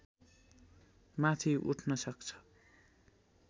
माथि उठ्न सक्छ